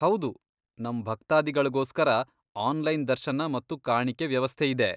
ಹೌದು, ನಮ್ ಭಕ್ತಾದಿಗಳ್ಗೋಸ್ಕರ ಆನ್ಲೈನ್ ದರ್ಶನ ಮತ್ತು ಕಾಣಿಕೆ ವ್ಯವಸ್ಥೆಯಿದೆ.